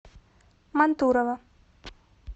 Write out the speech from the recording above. мантурово